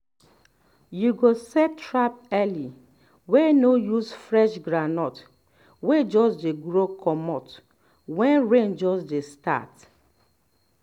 you go set trap early wey no use fresh groundnut wey just grow comeout wen rain just dey start